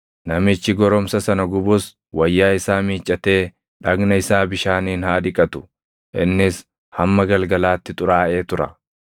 Namichi goromsa sana gubus wayyaa isaa miiccatee dhagna isaa bishaaniin haa dhiqatu; innis hamma galgalaatti xuraaʼee tura.